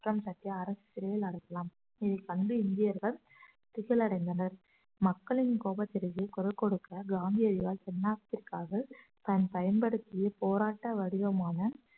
குற்றம் சாட்டி அரசு சிறையில் அடைக்கலாம் இதை கண்டு இந்தியர்கள் திகில் அடைந்தனர் மக்களின் கோபத்திற்கு குரல் கொடுக்க காந்தியடிகளால் தென்னாட்டிற்காக தான் பயன்படுத்திய போராட்ட வடிவமான